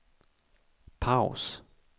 paus